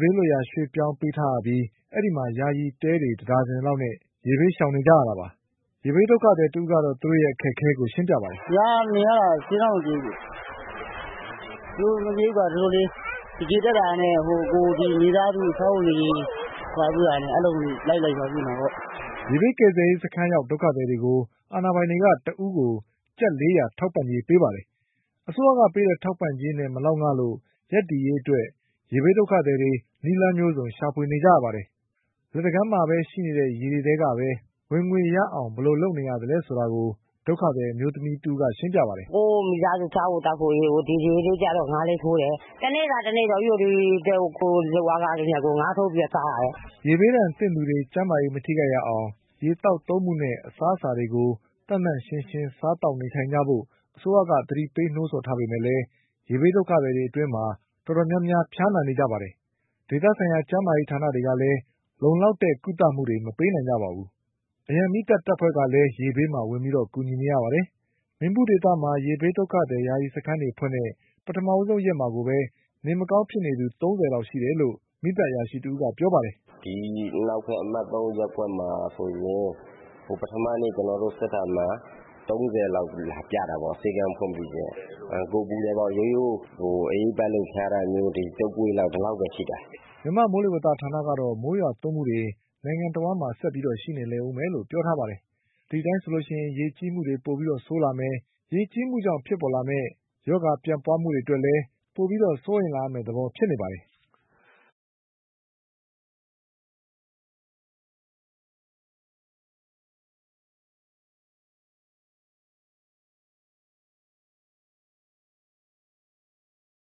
ဘေးလွတ် ရာ ရွှေ့ပြောင်းနေကြရပြီး အဲဒီမှာ ယာယီတဲတွေ ၁ဒါဇင်လောက်နဲ့ ရေဘေးရှောင်နေကြရတာပါ။ရေဘေးဒုက္ခသည်တဦး ကတော့ သူတို့ရဲ့အခက်အခဲကို ရှင်းပြပါတယ်။ “ဒီမှာနေရတာ အဆင်တော့မပြေဘူး။ အဆင်မပြေဘူးဆိုတာက ဒီလိုလေ ရေတက်လာတာနဲ့ မိသားစု စားဝတ်နေရေးလုပ်ရပြုရတာနဲ့ အဲလိုမျိုးတွေ လိုက်လုပ်ရတာပေါ့။” ရေဘေးကယ်ဆယ်ရေး စခန်းရောက်ဒုက္ခသည်တွေကို အာဏာပိုင် တွေက တဦးကို ကျပ်၄ရာထောက်ပံ့ကြေးပေးပါတယ်။ အစိုးရကပေးတဲ့ ထောက်ပံ့ကြေးနဲ့ မလောက်တာကြောင့် ရပ်တည်ရေးအတွက် ရေဘေးဒုက္ခသည်တွေ နည်းလမ်းမျိုးစုံရှာဖွေနေကြရ ပါတယ်။ လက်တကမ်းမှာရှိနေတဲ့ရေတွေနဲ့ပဲ ဝင်ငွေရအောင်ဘယ်လိုလုပ်နေရသလဲဆိုတာကို ဒုက္ခသည်အမျိုးသမီးတဦးက ရှင်းပြပါတယ်။ “ကိုယ့်မိသားစု စားဖို့သောက်ဖို့အရေးကို ရေလေးကျတော့ ငါးထိုးတယ်၊ တနေ့စာ တနေ့တော့ ကိုယ့်လုပ်အားခလေးနဲ့ ငါးထိုး ပြီးတော့ စားရတယ်။” ရေဘေးဒဏ်သင့် ပြည်သူတွေ ကျန်းမာရေးမထိခိုက်ရ အောင် ရေသောက်သုံးမှုနဲ့ အစားအသောက်တွေကို သန့်သန့်ရှင်းရှင်းစားသောက်နေ ထိုင်ကြဖို့ အစိုးရကသတိပေး ထားကြပေမဲ့လည်း ရေဘေးဒုက္ခသည်တွေအတွင်း တော်တော်များများ ဖျားနာနေကြပါတယ်။ ဒေသဆိုင်ရာကျန်းမာရေး ဌာနတွေကလည်း လုံလောက်တဲ့ကုသမှုတွေ မပေးနိုင်ကြပါဘူး။ အရန်မီးတပ်ဖွဲ့ကလည်း ရေဘေးမှာဝင်ကူနေရပါတယ်။ ရေဘေးဒုက္ခသည်ယာယီစခန်းတွေဖွင့်တဲ့ ပထမဆုံးရက်မှာကိုပဲ နေမကောင်းဖြစ်သူ၃၀ လောက်ရှိနေတယ်လို့ မီးသတ် အရာရှိတဦးကပြောပါတယ်။ “ဒီအနောက်ဘက် အမှတ်၃ ရပ်ကွက်မှာဆိုရင် ပထမနေ့ ကျနေ်ာတို့ စစ်တာမှာ ၃၀ လောက်လာပြတာပေါ့ ဆေးခန်းဖွင့်ပြီးပြီးခြင်း၊ ကိုယ်ပူတယ်ပေါ့ ရိုးရိုး အအေးပတ်လို့ ဖျားတာတွေ တုပ်ကွေး ဒီလောက်ပဲရှိတယ်။” မြန်မာ့ မိုးလေဝဌာနကတော့ မိုးရွာသွန်းမှုတွေ နိုင်ငံတဝှမ်းမှာ ဆက်ရှိနေလိမ့်ဦး မယ်လို့ပြောထားပါတယ်။ ဒီအတိုင်းဆိုရင် ရေကြီးမှုတွေပိုပြီးဆိုးလာမယ် ရေကြီးမှု ကြောင့်ဖြစ်ပေါ်လာမယ့် ရောဂါပျံပွါး မှုတွေအတွက် ပိုပြီးစိုးရိမ်လာရမယ့်သဘောဖြစ်နေပါတယ်။